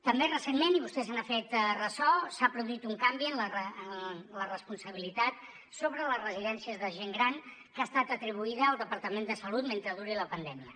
també recentment i vostè se n’ha fet ressò s’ha produït un canvi en la responsabilitat sobre les residències de gent gran que ha estat atribuïda al departament de salut mentre duri la pandèmia